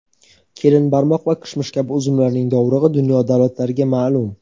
kelinbarmoq va kishmish kabi uzumlarning dovrug‘i dunyo davlatlariga ma’lum.